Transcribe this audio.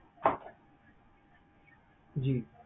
ਜੀ।